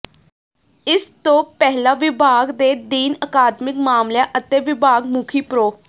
ਇਸ ਤੋਂ ਪਹਿਲਾਂ ਵਿਭਾਗ ਦੇ ਡੀਨ ਅਕਾਦਮਿਕ ਮਾਮਲਿਆਂ ਅਤੇ ਵਿਭਾਗ ਮੁਖੀ ਪ੍ਰੋ